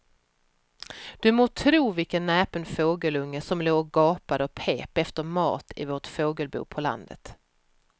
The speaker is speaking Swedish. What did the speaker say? Du må tro vilken näpen fågelunge som låg och gapade och pep efter mat i vårt fågelbo på landet.